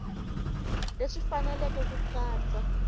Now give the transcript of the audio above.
leswi swi fanele ku katsa